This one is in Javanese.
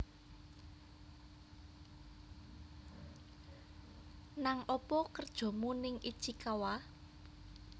Nang opo kerjomu ning Ichikawa?